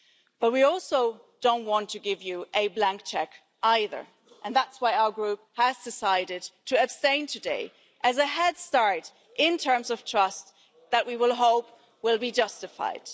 But we also don't want to give you a blank cheque either and that's why our group has decided to abstain today as a head start in terms of trust that we hope will be justified.